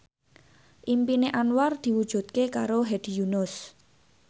impine Anwar diwujudke karo Hedi Yunus